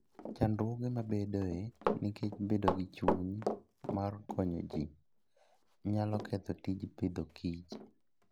Chandruoge mabedoe nikech bedo gi chuny mar konyo ji, nyalo ketho tij Agriculture and Food